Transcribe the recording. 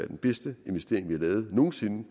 den bedste investering vi har lavet nogen sinde